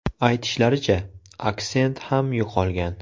Aytishlaricha, aksent ham yo‘qolgan.